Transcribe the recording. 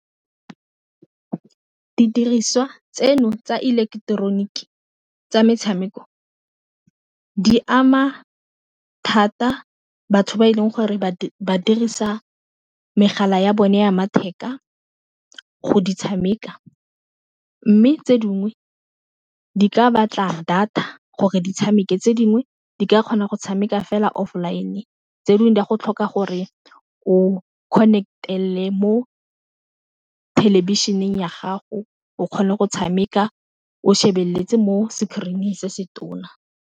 Didiriswa tseno tsa ileketeroniki tsa metshameko di ama thata batho ba e leng gore ba dirisa megala ya bone ya matheka go di tshameka, mme tse dingwe di ka batla data gore di tshameke tse dingwe di ka kgona go tshameka fela off online-e tse dingwe di a go tlhoka gore o connect-e mo thelebišeneng ya gago o kgone go tshameka o shebeletse mo screen-ng se se tona.